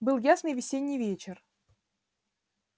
был ясный весенний вечер